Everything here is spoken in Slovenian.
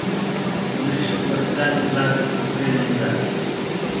Služiš ji kot zadnji hlapec od spredaj in zadaj.